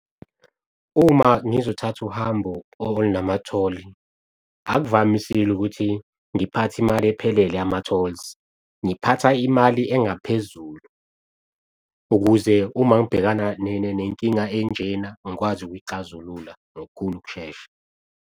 Uma ngizothatha uhambo olunama-toll akuvamisile ukuthi ngiphathe imali ephelele yama-tolls, ngiphatha imali engaphezulu ukuze uma ngibhekana nenkinga enjena ngikwazi ukuyixazulula ngokukhulu ukushesha.